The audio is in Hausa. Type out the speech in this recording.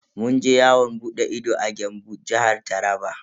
Mun je yawon bude ido a Gembu, Jihar Taraba.